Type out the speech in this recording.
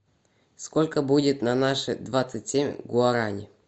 сколько будет на наши двадцать семь гуарани